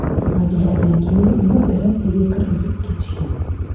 Majlisdan keyin uni operatsiyaga kirgizib ketishgan.